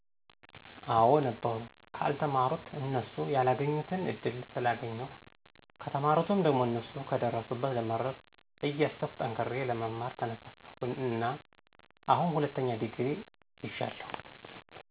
አወ ነበሩ። ከአልተማሩት እነሱ ያላገኙትን እድል ስላገኜሁ፣ ከተማሩት ደሞ እነሱ ከደረሱበት ለመድረስ እያሰብኩ ጠንክሬ ለመማር ተነሳሳሁ እና አሁን ሁለተኛ ዲግሪ ይጃለሁ።